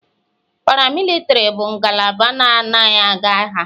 Paramilitari bụ ngalaba na-anaghị aga agha.